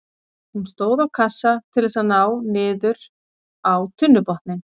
Hún stóð á kassa til þess að ná niður á tunnubotninn.